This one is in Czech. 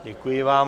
Děkuji vám.